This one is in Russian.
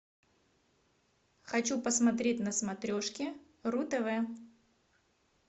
хочу посмотреть на смотрешке ру тв